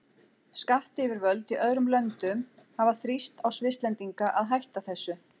Skattyfirvöld í öðrum löndum hafa þrýst á Svisslendinga að hætta þessu.